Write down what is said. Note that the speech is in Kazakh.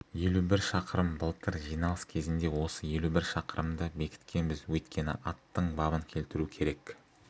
елу бір шақырым былтыр жиналыс кезінде осы елу бір шақырымды бекіткенбіз өйткені аттың бабын келтіру керек